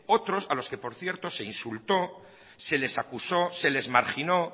otros a los que por cierto se insultó se les acusó se les marginó